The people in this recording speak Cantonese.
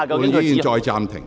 會議現在暫停。